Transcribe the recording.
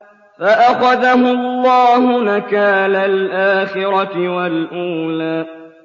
فَأَخَذَهُ اللَّهُ نَكَالَ الْآخِرَةِ وَالْأُولَىٰ